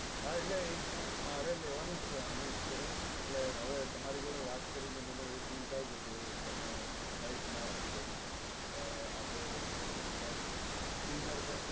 હા એટલે એક મારે લેવાનું છે આમેય insurance એટલે હવે તમારી જોડે વાત કરી મને એવું fill થાય છે કે તમે right માણસ છો ને આપણે એકવાર dinner પર